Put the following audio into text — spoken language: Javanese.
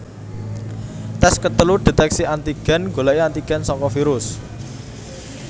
Tes ketelu deteksi antigen goleki antigen saka virus